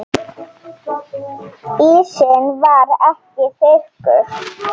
Ísinn var ekki þykkur.